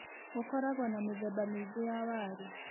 Gũkoragwo na mĩthemba mĩingĩ ya waru.